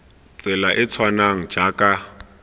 tsela e e tshwanang jaaka